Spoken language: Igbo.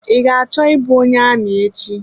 I ga-achọ I bụ onye amị echi.